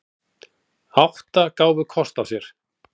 Átta gáfu kost á sér.